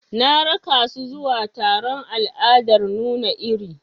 Na raka su zuwa taron al'adar nuna iri.